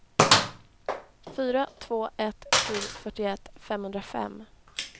fyra två ett sju fyrtioett femhundrafem